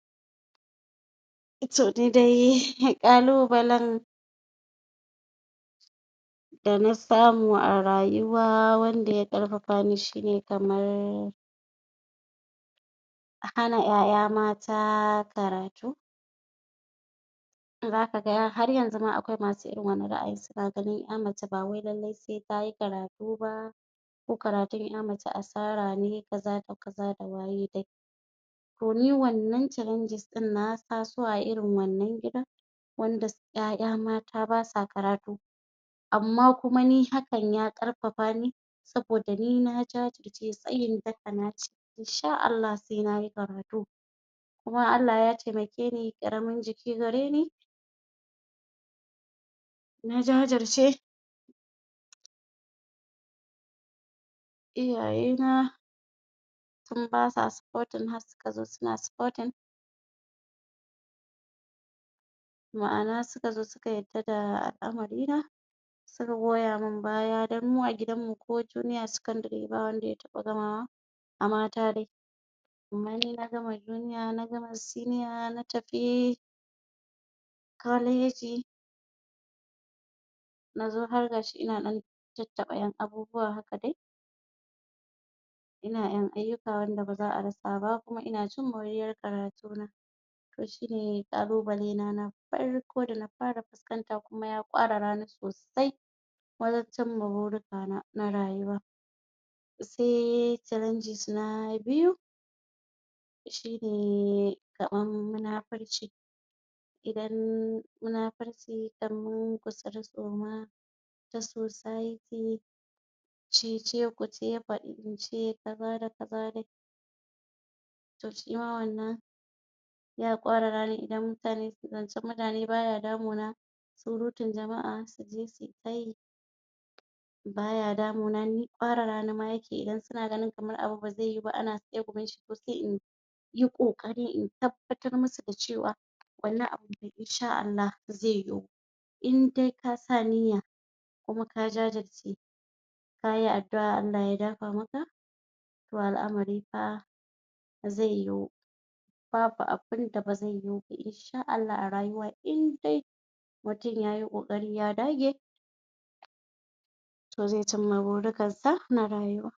to nidai ƙalubalan da na samu a rayuwa wanda ya ƙarfafa ni shine kamar hana ƴaƴa mata karatu zaka ga har yanzu ma akwai irin masu wannan ra'ayin suna gani ai mace ba wai lallai se tayi karatu ba ko karatun ƴa mace asara ne kaza da kaza da waye dai to ni wannan challangis din na taso a irin wannan gurin wanda ƴaƴa mata basa karatu amma kuma ni hakan ya ƙarfafa ni saboda ni na jajirce tsayin daka na ce insha Allah se nayi karatu kuma Allah ya taimake ni ƙaramin jiki gareni na jajirce iyaye na tin basa spotin har suka zo suna spotingma'ana suka zo suka yarda da al'amari na suka goya min baya don mu a gidanmu ko jiniya secondary da wanda ya taɓa gamawa a mata dai amma ni na gama jiniya na gama siniya na tafi kwaleji nazo har gashi ina ɗan tattaɓa abubuwa haka dai ina ƴan ayyuka wanda baza a rasa ba kuma ina cin muriyar karatu na to shine ƙalubale na na farko dana fara fuskanta kuma ya ƙwarara ni sosai wajen cimma burika na na rayuwa se challenges na biyu shine kamar munafurci idan munafurci kaman gutsiri tsoma na society cece kuce faɗi ince kaza da kaza dai shima wannan ya ƙwarara ni idan mutane zancen mutane baya damu na surutun jama'a suje sukai baya damuna ni ƙwarara ni ma yake idan suna ganin abu kamar baze yuwa ba ana tsegumin shi to se in yi ƙoƙari in tabbatar musu da cewa wannan abu insha Allah ze yiwu indai kasa niyya kuma ka jajirce kayi addu'a Allah ya dafa maka to al'amari fa ze yiwu babu abun da bazan yishi insha Allah a rayuwa in dai mutum yayi ƙoƙari ya dage to ze cimma burikan sa na rayuwa